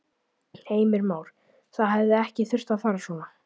Heimir Már: Það hefði ekki þurft að fara svona?